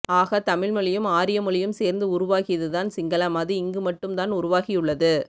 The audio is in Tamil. ஆக தமிழ் மொழியும் ஆரியமொழியும் சேர்ந்து உருவாகியது தான் சிங்களம் அது இங்கு மட்டும்தான் உருவாகியுள்ளது